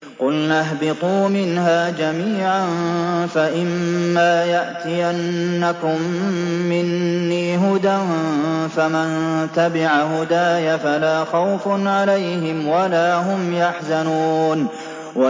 قُلْنَا اهْبِطُوا مِنْهَا جَمِيعًا ۖ فَإِمَّا يَأْتِيَنَّكُم مِّنِّي هُدًى فَمَن تَبِعَ هُدَايَ فَلَا خَوْفٌ عَلَيْهِمْ وَلَا هُمْ يَحْزَنُونَ